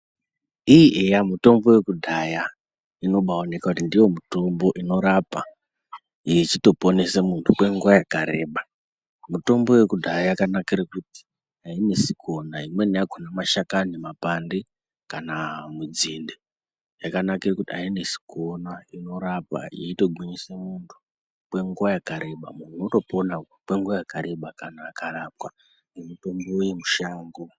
Iii eya mitombo yekudhaya inobaoneka ndiyo mitombo inorapa ichitoponesa muntu kwenguwa yakareba . Mitombo yekudhaya yakanakira kuti hainetsi kuona imweni yakhona mashakani mapande kana munzinde yakanakire kuti ainesi kuona inorapa yeitogwinyise muiri kwenguwa yakareba muntu wotopona kwenguva yakareba kana akarapwa ngemitombo yemushango.